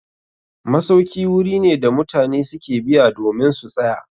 Masauki wuri ne da mutane su ke biya domin su tsaya.